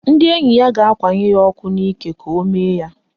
Ndị enyi ya ga-akwanye ya ọkụ n'ike ka o mee ya.